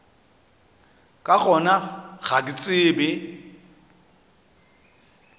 ka gona ga ke tsebe